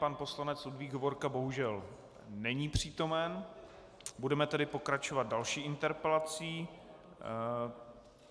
Pan poslanec Ludvík Hovorka bohužel není přítomen, budeme tedy pokračovat další interpelací.